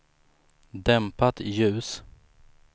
dämpat ljus